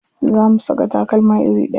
Za mu saka takalma iri ɗaya.